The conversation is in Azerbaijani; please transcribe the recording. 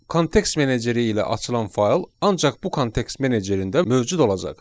Kontekst meneceri ilə açılan fayl ancaq bu kontekst menecerində mövcud olacaq.